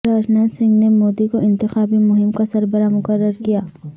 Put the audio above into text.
راجناتھ سنگھ نے مودی کو انتخابی مہم کا سربراہ مقرر کیا